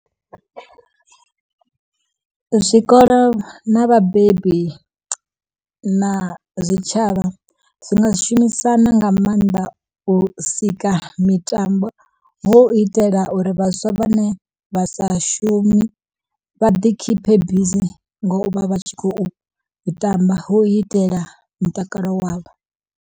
Zwikolo na vhabebi na zwitshavha, zwi nga shumisana nga maanḓa u sika mitambo, ho u itela uri vhaswa vha ne vha sa shumi vha ḓi khiphe bizi ngo vha vha tshi khou tamba hu itela mutakalo wavho.